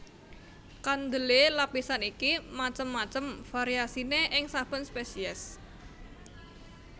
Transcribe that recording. Kandelé lapisan iki macem macem variasiné ing saben spesies